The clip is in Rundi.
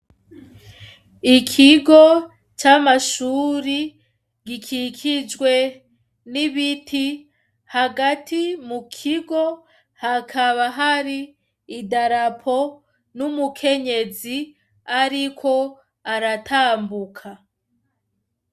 Ikigo c'amashuri gikikijwe n'ibiti. Hagati mu kigo hakaba hari idarapo n'umukenyezi ariko aratambuka.